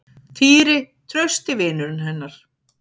Týri, trausti vinurinn hennar.